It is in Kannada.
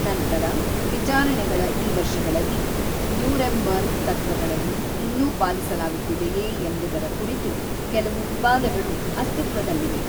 ನಂತರ ವಿಚಾರಣೆಗಳ ಈ ವರ್ಷಗಳಲ್ಲಿ ನ್ಯೂರೆಂಬರ್ಗ್ ತತ್ವಗಳನ್ನು ಇನ್ನೂ ಪಾಲಿಸಲಾಗುತ್ತಿದೆಯೇ ಎಂಬುದರ ಕುರಿತು ಕೆಲವು ವಿವಾದಗಳು ಅಸ್ತಿತ್ವದಲ್ಲಿವೆ.